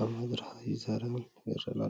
ኣብ መድረኽ ይዘራረብን ይረአን ኣሎ።